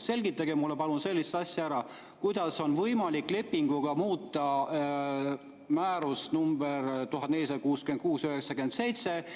Selgitage mulle palun sellist asja: kuidas on võimalik lepinguga muuta määrust nr 1466/97?